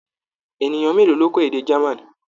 Ènìyàn mélòó ló kọ́ èdè German.